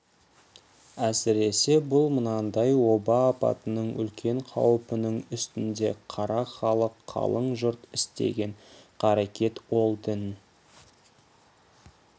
әсіресе бұл мынандай оба апатының үлкен қауіпінің үстінде қара халық қалың жұрт істеген қарекет ол дін